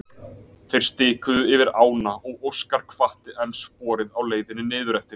Þeir stikuðu yfir ána og Óskar hvatti enn sporið á leiðinni niður eftir.